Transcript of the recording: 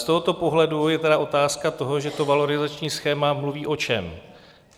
Z tohoto pohledu je tedy otázka toho, že to valorizační schéma mluví o čem?